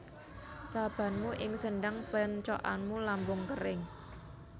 Sabamu ing sendhang péncokanmu lambung kéring